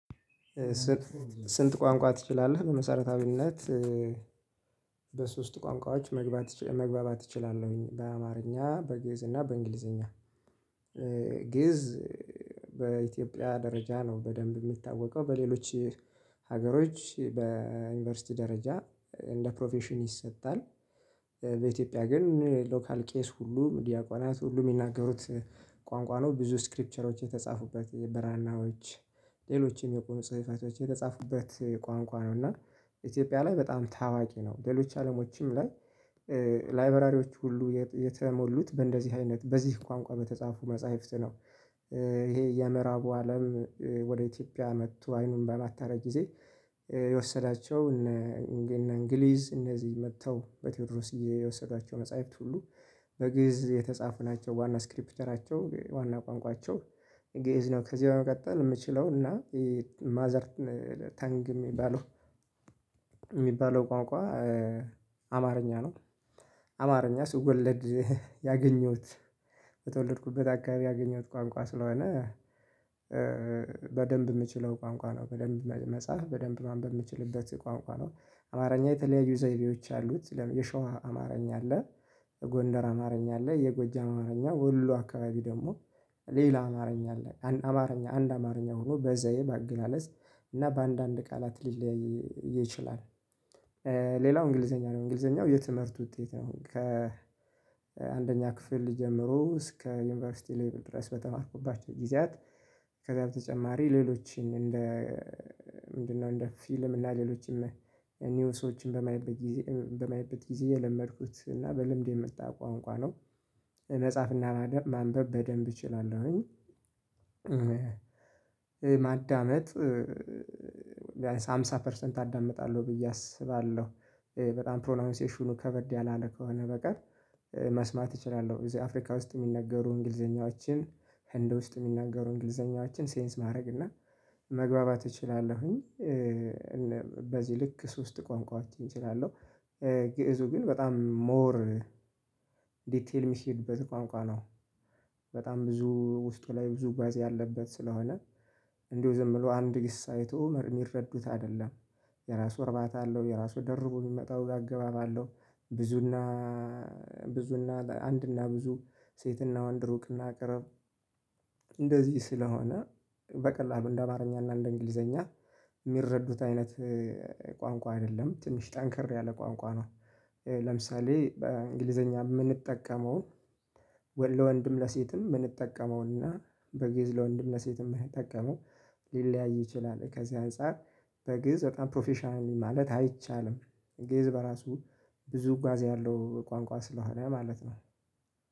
ስንት ቋንቋ ትችላለህ? በመሰረታዊነት በሶስት ቋንቋዎች መግባባት እችላለሁኝ በአማርኛ በግእዝ እና በእንግሊዘኛ። ግእዝ በኢትዮጵያ ደረጃ ነው በደንብ የሚታወቀው በሌሎች ሀገሮች በዩኒቨርሲቲ ደረጃ እንደ ፕሮፌሽን ይሰጣል። በኢትዮጵያ ግን ሎካል ቄስ ሁሉ ዲያቆናት ሁሉ የሚናገሩት ቋንቋ ነው ብዙ ስክሪፕቸሮች የተጻፉበት የበራናዎች ሌሎችም የቁም ጽህፈቶች የተጻፉበት ቋንቋ ነው። እና ኢትዮጵያ ላይ በጣም ታዋቂ ነው። ሌሎች አለሞችም ላይ ላይበራሪዎች ሁሉ የተሞሉት በእንደዚህ አይነት በዚህ ቋንቋ በተጻፉ መጽሐፍት ነው። ይሄ የምዕራቡ አለም ወደ ኢትዮጵያ መጥቶ አይኑን በማታረ ጊዜ የወሰዳቸው እነ እንግሊዝ እነዚህ መጥተው በቴዎድሮስ ጊዜ እየወሰዷቸው መጽሐፍት ሁሉ በግእዝ የተጻፉ ናቸው። ዋና ስክሪፕተራቸው ዋና ቋንቋቸው ግእዝ ነው። ከዚህ በመቀጠል የምችለው እና ማዘር ታንግ የሚባለው የሚባለው ቋንቋ አማርኛ ነው። አማርኛ ስወለድ ያገኘሁት በተወለድኩበት አካባቢ ያገኘሁት ቋንቋ ስለሆነ በደንብ የምችለው ቋንቋ ነው በደንብ መጽሐፍ በደንብ ማንበብ ምችልበት ቋንቋ ነው። አማርኛ የተለያዩ ዘይቤዎች አሉት የሸዋ አማርኛ አለ የጎንደር አማርኛ አለ የጎጃም አማርኛ ወሎ አካባቢ ደግሞ ሌላ አማርኛ አለ አማርኛ አንድ አማርኛ ሆኖ በዘየ በአገላለጽ እና በአንዳንድ ቃላት ሊለያይ ይችላል። ሌላው እንግሊዘኛ ነው እንግሊዘኛው የትምህርት ውጤት ነው። ከ ከአንደኛ ክፍል ጀምሮ እስከ ዩኒቨርሲቲ ሌቭል ድረስ በተማርኩባቸው ጊዜያት ከዛ በተጨማሪ ሌሎችን እንደ ምንድነው እንደ ፊልም እና ሌሎችን ኒውሶችን በማይት በማይበት ጊዜ በማይት ጊዜ የለመድኩት እና በልምድ የምጣ ቋንቋ ነው። መጽሐፍና ማንበብ በደንብ እችላለሁኝ። ማዳመጥ ሃምሳ ፐርሰንት አዳምጣለሁ ብዬ አስባለሁ በጣም ፕሮናውንሴሽኑ ከበድ ያላለ ከሆነ በቀር መስማት እችላለሁ እዚህ አፍሪካ ውስጥ የሚነገሩ እንግሊዘኛዎችን ህንድ ውስጥ የሚነገሩ እንግሊዘኛዎችን ሴንስ ማድረግ እና መግባባት እችላለሁኝ። በዚህ ልክ ሶስት ቆንቋችን እችላለሁ ግእዙ ግን በጣም ሞር ዲቴል የሚሄድበት ቋንቋ ነው። በጣም ብዙ ውስጥ ላይ ብዙ ጓዝ ያለበት ስለሆነ እንደው ዝም ብሎ አንድ ግስ አይቶ የሚረዱት አይደለም። የራሱ እርባታ አለው የራሱ ደርቦ የሚመጣው አገባባ አለው። ብዙና ብዙና አንድና ብዙ ሴትና ወንድ ሩቅና ቅርብ እንደዚህ ስለሆነ በቀላሉ እንደ አማርኛ እና እንደ እንግሊዘኛ የሚረዱት አይነት ቋንቋ አይደለም ትንሽ ጠንከር ያለ ቋንቋ ነው። ለምሳሌ እንግሊዘኛ የምንጠቀመውን ወለ ለወንድም ለሴትም የምንጠቀመውና በጊዝ ለወንድም ለሴትም የምንጠቀመው ሊለያይ ይችላል ከዚህ አንፃር በግእዝ በጣም ፕሮፌሽናል ማለት አይቻልም። ግዝ በራሱ ብዙ ጓዝ ያለው ቋንቋ ስለሆነ ማለት ነው